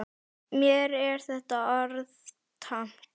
Mér er þetta orð tamt.